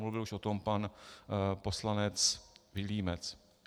Mluvil už o tom pan poslanec Vilímec.